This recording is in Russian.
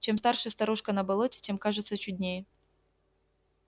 чем старше старушка на болоте тем кажется чуднее